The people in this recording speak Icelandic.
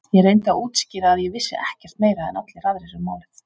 Ég reyndi að útskýra að ég vissi ekkert meira en allir aðrir um málið.